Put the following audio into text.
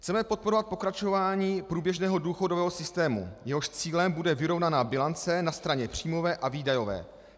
Chceme podporovat pokračování průběžného důchodového systému, jehož cílem bude vyrovnaná bilance na straně příjmové a výdajové.